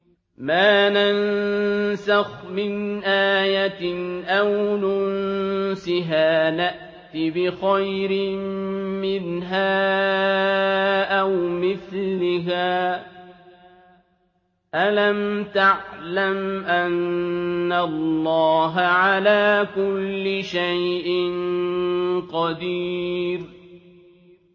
۞ مَا نَنسَخْ مِنْ آيَةٍ أَوْ نُنسِهَا نَأْتِ بِخَيْرٍ مِّنْهَا أَوْ مِثْلِهَا ۗ أَلَمْ تَعْلَمْ أَنَّ اللَّهَ عَلَىٰ كُلِّ شَيْءٍ قَدِيرٌ